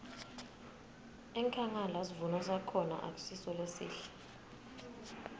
enkhangala sivuno sakhona akusiso lesihle